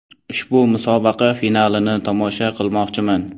Ushbu musobaqa finalini tomosha qilmoqchiman.